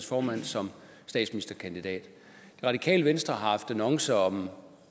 formand som statsministerkandidat det radikale venstre har haft annoncer om